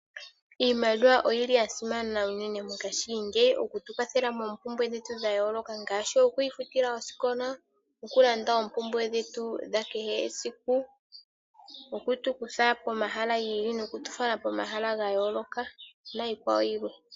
Iimaliwa oyi li ya simana unene mongashingeyi oku tu kwathela moompumbwe dhetu dha yooloka ngaashi oku ifutila osikola, okulanda oompubwe dhetu dha kehe esiku, oku tu kutha pomahala gi ili noku tu fala pomahala ga yooloka niikwawo yilwe.